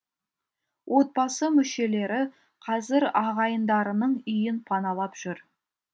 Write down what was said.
отбасы мүшелері қазір ағайындарының үйін паналап жүр